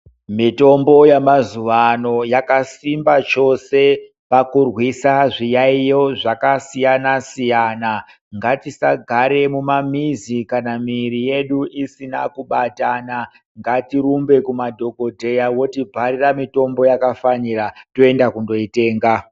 Mitombo yamazuvano yakasimba chose pakurwisa zviyaiyo zvakasiyana-siyana. Ngatisagare mumamizi kana mwiri yedu isina kubatana ngatirumbe kumadhokodheya votibharira mitombo yakafanira toenda kunoitenga.